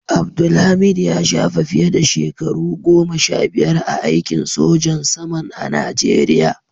Abdulhameed ya shafe fiye da shekaru goma sha biyar a aikin sojan saman a najeriya.